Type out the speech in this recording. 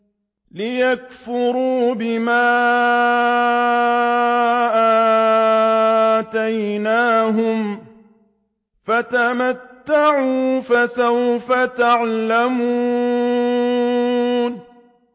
لِيَكْفُرُوا بِمَا آتَيْنَاهُمْ ۚ فَتَمَتَّعُوا فَسَوْفَ تَعْلَمُونَ